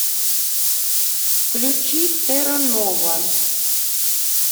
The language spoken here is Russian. включи терра нова